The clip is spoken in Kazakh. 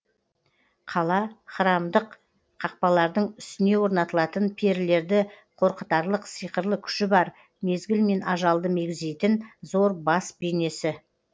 кала храмдық қақпалардың үстіне орнатылатын перілерді қорқытарлық сиқырлы күші бар мезгіл мен ажалды мегзейтін зор бас бейнесі